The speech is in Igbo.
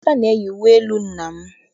Emeka na-eyi uwe elu nna m.